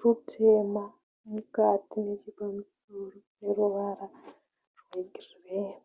rutema mukati nechepamusoro. Neruvara rwegireyi.